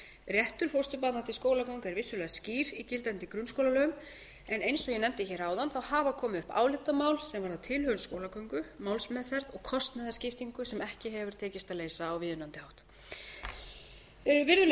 réttur fósturbarna til skólagöngu er vissulega skýr í gildandi grunnskólalögum en eins og ég nefndi hér áðan hafa komið upp álitamál sem varða tilhögun skólagöngu málsmeðferð og kostnaðarskiptingu sem ekki hefur tekist að leysa á viðunandi hátt virðulegi